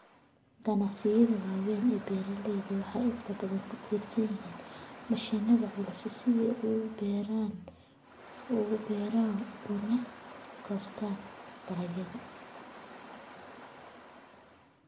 Ganacsiyada waaweyn ee beeralayda waxay inta badan ku tiirsan yihiin mashiinada culus si ay u beeraan ugana goostaan ??dalagyada.